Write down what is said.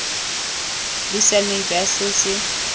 bo siameng jwa se se